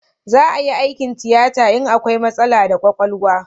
Za a yi aikin tiyata in akwai matsala da kwakwalwa